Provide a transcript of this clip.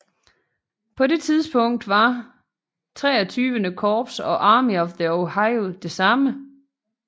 På det tidspunkt var XXIII Korps og Army of the Ohio det samme